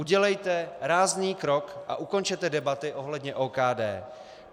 Udělejte rázný krok a ukončete debaty ohledně OKD.